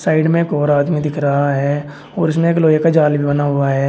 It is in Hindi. साइड में गोरा आदमी दिख रहा है और उसने एक लोहे का जाल बना हुआ है।